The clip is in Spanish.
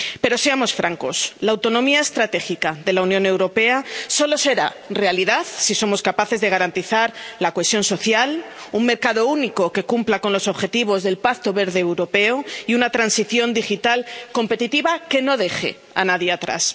Pero seamos francos, la autonomía estratégica de la Unión Europea solo será realidad si somos capaces de garantizar la cohesión social, un mercado único que cumpla con los objetivos del Pacto Verde Europeo y una transición digital competitiva que no deje a nadie atrás.